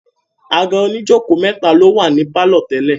àga oníjòkó mẹ́ta ló wà ní pálọ̀ tẹ́lẹ̀.